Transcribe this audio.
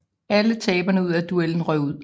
Alle taberne af duelen røg ud